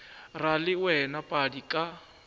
ra le wena padi ka